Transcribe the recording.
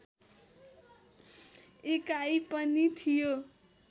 एकाइ पनि थियो